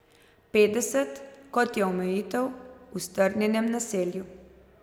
Petdeset, kot je omejitev v strnjenem naselju.